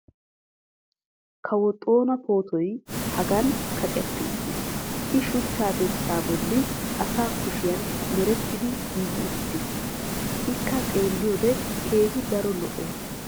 kawo xoona pootoy hagan kaqetti uttiis. i shuchchaa dirssaa bolli asa kushiyan merettidi giigi uttiis. ikka xeelliyode keehi daro lo'ees.